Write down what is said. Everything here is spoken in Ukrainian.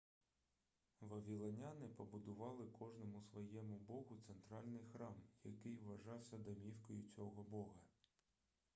вавілоняни побудували кожному своєму богу центральний храм який вважався домівкою цього бога